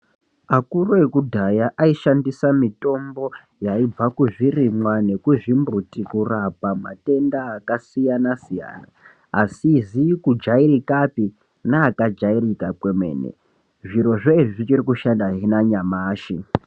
Akuru ekudhaya aishandisa mitombo yaibva kuzvirimwa nekuzvimbuti kurapa matenda akasiyana siyana, asizi kujairikapi neakajairika kwemene, zvirozvo izvi zvichiri kushanda nanyamashi.